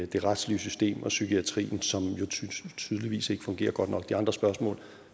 det retslige system og psykiatrien som jo tydeligvis ikke fungerer godt nok de andre spørgsmål